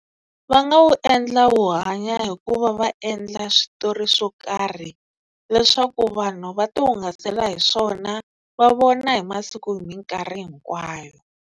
Va nga wu endla wu hanya hi ku va va endla switori swo karhi leswaku vanhu va ti hungasela hi swona va vona hi masiku hi minkarhi hinkwayo.